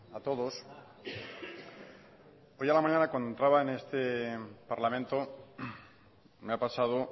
a todos hoy a la mañana cuando entraba en este parlamento me ha pasado